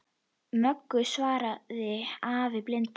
Möggu, svaraði afi blindi.